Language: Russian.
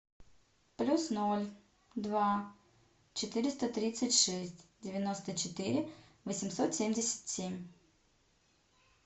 плюс ноль два четыреста тридцать шесть девяносто четыре восемьсот семьдесят семь